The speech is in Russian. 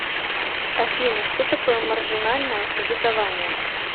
афина что такое маржинальное кредитование